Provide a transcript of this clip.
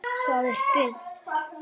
Það er dimmt.